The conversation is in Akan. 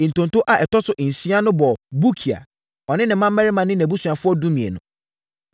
Ntonto a ɛtɔ so nsia no bɔɔ Bukia, ɔne ne mmammarima ne nʼabusuafoɔ (12)